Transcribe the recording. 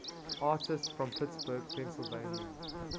artists from pittsburgh pennsylvania